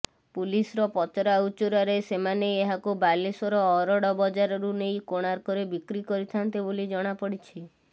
ପୁଲିସର ପଚରାଉଚୁରାରେସେମାନେ ଏହାକୁ ବାଲେଶ୍ୱର ଅରଡ଼ବଜାରରୁ ନେଇ କୋଣାର୍କରେ ବିକ୍ରି କରିଥାନ୍ତେ ବୋଲି ଜଣାପଡ଼ିଛି